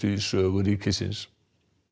í sögu ríkisins